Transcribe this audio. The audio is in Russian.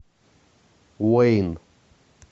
уэйн